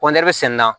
sɛnɛ na